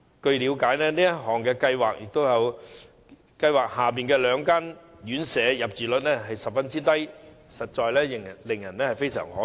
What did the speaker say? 據了解，試驗計劃下兩間院舍的入住率十分低，實在教人感到非常可惜。